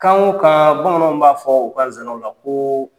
Kan o kaan bamananw b'a fɔ u ka sanaw la koo